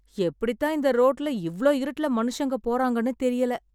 எப்படித்தான் இந்த ரோட்ல இவ்ளோ இருட்டுல மனுசங்க போறாங்கன்னு தெரியல